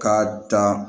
K'a dan